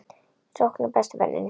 Sókn er besta vörnin.